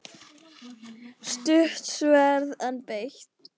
Stutt sverð, en beitt.